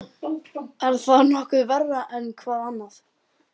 Er það nokkuð verra en hvað annað?